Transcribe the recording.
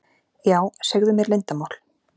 Já, segðu mér leyndarmál.